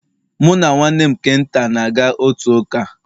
Mụ na nwanne m nke nta, na-aga otu ụka